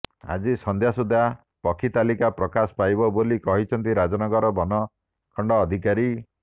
ଆଜି ସନ୍ଧ୍ୟା ସୁଦ୍ଧା ପକ୍ଷୀ ତାଲିକା ପ୍ରକାଶ ପାଇବ ବୋଲି କହିଛନ୍ତି ରାଜନଗର ବନଖଣ୍ଡ ଅଧିକାରୀ